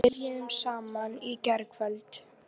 Nefndin hittist aftur í dag